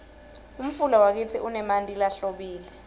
umfula wakitsi unemanti lahlobile